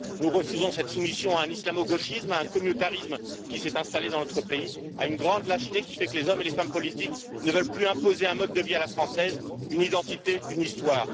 Nous refusons cette soumission à un islamo gauchisme, à un communautarisme qui s'est installé dans notre pays, à une grande lâcheté qui fait que les hommes et les femmes politiques ne veulent plus imposer un mode de vie à la française, une identité, une histoire.